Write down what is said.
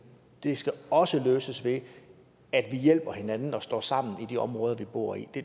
det skal også løses ved at vi hjælper hinanden og står sammen i de områder vi bor i